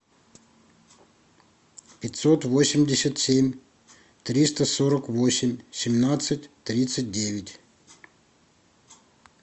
пятьсот восемьдесят семь триста сорок восемь семнадцать тридцать девять